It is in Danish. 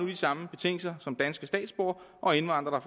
de samme betingelser som danske statsborgere og indvandrere